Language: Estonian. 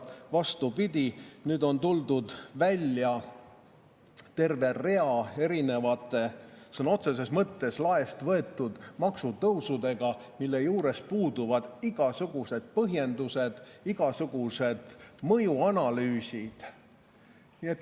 Vastupidi, nüüd on tuldud välja terve rea erinevate sõna otseses mõttes laest võetud maksutõusudega, mille puhul puuduvad igasugused põhjendused, igasugused mõjuanalüüsid.